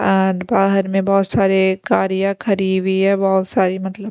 और बाहर में बहुत सारे गारिया खरी हुई है बहुत सारी मतलब--